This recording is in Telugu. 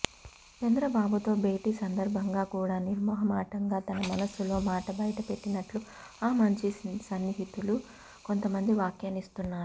ఇక చంద్రబాబు తో భేటీ సందర్భంగా కూడా నిర్మొహమాటంగా తన మనసులో మాట బయటపెట్టినట్టు ఆమంచి సన్నిహితులు కొంతమంది వ్యాఖ్యానిస్తున్నారు